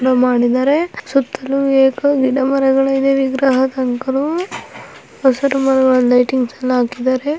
ಸುತ್ತಲೂ ಅನೇಕ ಗಿಡ ಮರಗಳು ಇದ್ದಾವೆ ವಿಗ್ರಹ ಹಸಿರು ಮರಗಳಲ್ಲಿ ಲೈಟಿಂಗ್ಸ್ ಎಲ್ಲಾ ಹಾಕಿದ್ದಾರೆ.